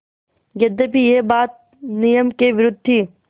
यद्यपि यह बात नियम के विरुद्ध थी